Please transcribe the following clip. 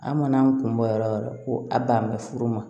An mana an kun bɔ yɔrɔ ko a ban bɛ furu ma